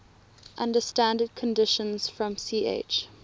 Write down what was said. under standard conditions from ch